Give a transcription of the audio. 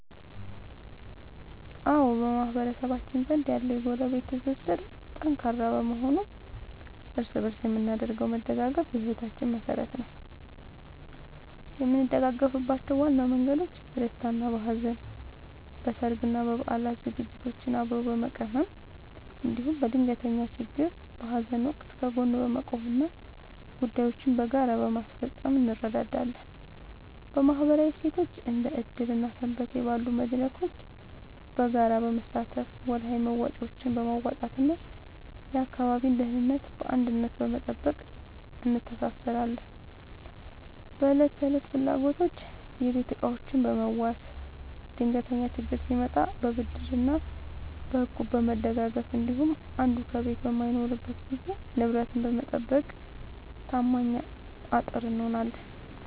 አዎ፣ በማህበረሰባችን ዘንድ ያለው የጎረቤት ትስስር ጠንካራ በመሆኑ እርስ በእርስ የምናደርገው መደጋገፍ የሕይወታችን መሠረት ነው። የምንደጋገፍባቸው ዋና መንገዶች፦ በደስታና በሐዘን፦ በሠርግና በበዓላት ዝግጅቶችን አብሮ በመቀመም፣ እንዲሁም በድንገተኛ ችግርና በሐዘን ወቅት ከጎን በመቆምና ጉዳዮችን በጋራ በማስፈጸም እንረዳዳለን። በማኅበራዊ እሴቶች፦ እንደ ዕድር እና ሰንበቴ ባሉ መድረኮች በጋራ በመሳተፍ፣ ወርሃዊ መዋጮዎችን በማዋጣትና የአካባቢን ደህንነት በአንድነት በመጠበቅ እንተሳሰራለን። በዕለት ተዕለት ፍላጎቶች፦ የቤት ዕቃዎችን በመዋዋስ፣ ድንገተኛ ችግር ሲመጣ በብድርና በእቁብ በመደጋገፍ እንዲሁም አንዱ ከቤት በማይኖርበት ጊዜ ንብረትን በመጠባበቅ ታማኝ አጥር እንሆናለን።